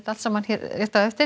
hér rétt á eftir